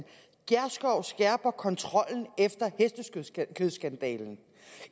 gjerskov skærper kontrollen efter hestekødsskandalen